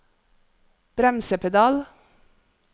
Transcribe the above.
bremsepedal